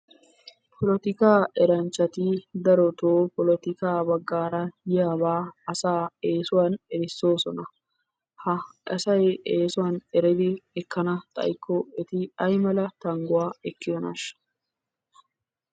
Polotikaa eranchchati darotoo polotikaa baggaara yiyabaa asaa eesuwan erissoosona. Ha asay eesuwan eridi ekkana xayikko eti ayimala tangguwa ekkiyonaashsha.